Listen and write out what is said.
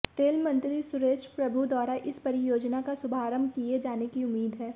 rail मंत्री सुरेश प्रभु द्वारा इस परियोजना का शुभारंभ किए जाने की उम्मीद है